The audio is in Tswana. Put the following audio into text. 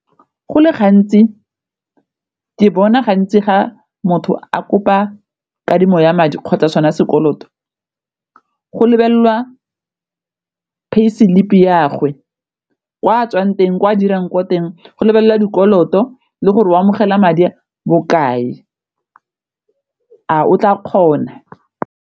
Go le gantsi ke bona gantsi ga motho a kopa kadimo ya madi kgotsa sona sekoloto go lebelelwa pay slip-i ya gagwe, kwa tswang teng kwa dirang ko teng go lebelela dikoloto le gore o amogela madi a bokae a o tla kgona.